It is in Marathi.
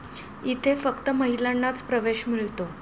इथे फक्त महिलांनाच प्रवेश मिळतो.